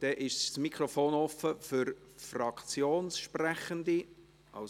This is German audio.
Damit ist das Mikrofon für Fraktionssprechende offen.